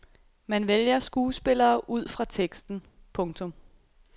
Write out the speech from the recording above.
Man vælger skuespillere ud fra teksten. punktum